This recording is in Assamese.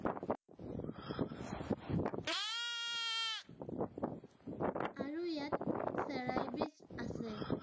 আৰু ইয়াত আছে।